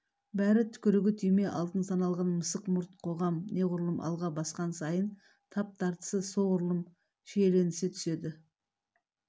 бәрі түкірігі түйме алтын саналған мысық мұрт қоғам неғұрлым алға басқан сайын тап тартысы солғұрлым шиеленсе түседі